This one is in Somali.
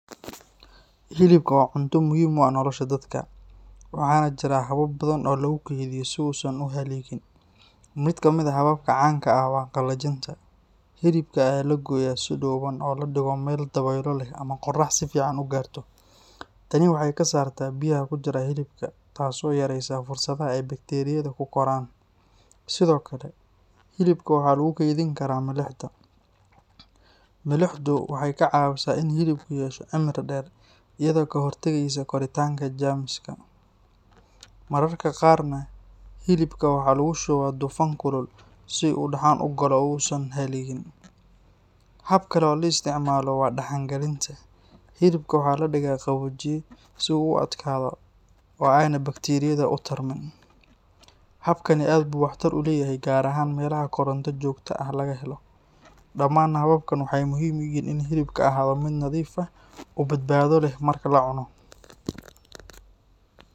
Hilibka waa cunto muhiim u ah nolosha dadka, waxaana jira habab badan oo lagu keydiyo si uusan u halligin. Mid ka mid ah hababka caanka ah waa qallajinta. Hilibka ayaa la gooyaa si dhuuban oo la dhigo meel dabeylo leh ama qorrax si fiican u gaarto. Tani waxay ka saartaa biyaha ku jira hilibka taasoo yaraysa fursadda ay bakteeriyada ku koraan. Sidoo kale, hilibka waxaa lagu kaydin karaa milixda. Milixdu waxay kaa caawisaa in hilibku yeesho cimri dheer iyadoo ka hortagaysa koritaanka jeermiska. Mararka qaarna hilibka waxaa lagu shubaa dufan kulul si uu u dhaxan galo oo uusan u halligin. Hab kale oo loo isticmaalo waa dhaxan gelinta. Hilibka waxaa la dhigaa qaboojiye si uu u adkaado oo aanay bakteeriyadu u tarmin. Habkani aad buu waxtar u leeyahay gaar ahaan meelaha koronto joogto ah laga helo. Dhamaan hababkan waxay muhiim u yihiin in hilibku ahaado mid nadiif ah oo badbaado leh marka la cuno.